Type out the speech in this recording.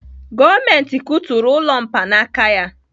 Gọọmenti kuturu ụlọ mkpaanaka ya